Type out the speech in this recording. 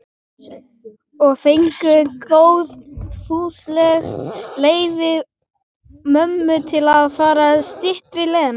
Og fengu góðfúslegt leyfi mömmu til að fara styttri leiðina.